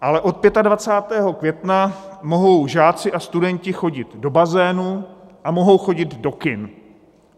Ale od 25. května mohou žáci a studenti chodit do bazénu a mohou chodit do kin.